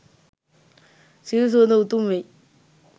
සිල් සුවඳ උතුම් වෙයි.